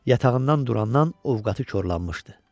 Yatağından durandan ovqatı korlanmışdı.